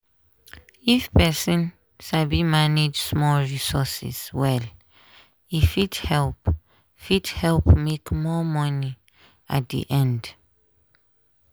if person sabi manage small resources well e fit help fit help make more money at the end.